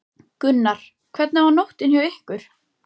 Gunnar: Hvernig var nóttin hjá ykkur?